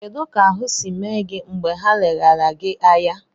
Kedụ ka ahụ si mee gị mgbe ha leghara gị anya?